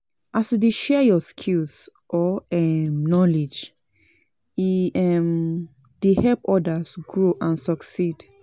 as you dey share yur skills or um knowledge, e um dey help odas grow and succeed.